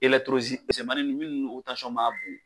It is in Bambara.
misɛmanin nunnu minnun ma bon.